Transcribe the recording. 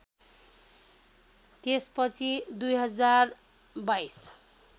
त्यस पछि २०२२